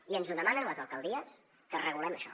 i ens ho demanen les alcaldies que regulem això